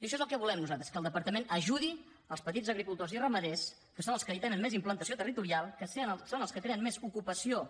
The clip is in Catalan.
i això és el que volem nosaltres que el departament ajudi els petits agricultors i ramaders que són els que tenen més implantació territorial que són els que creen més ocupació